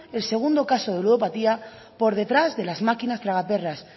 el segundo caso de ludopatía por detrás de las máquinas tragaperras